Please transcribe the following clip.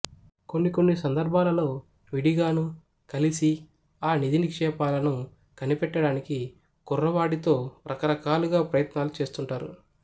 కొన్ని కొన్ని సందర్భాలలో విడిగాను కలిసీ ఆ నిధినిక్షేపాలను కనిపెట్టడానికి కుర్రవాడితో రకరకాలుగా ప్రయత్నాలు చేస్తుంటారు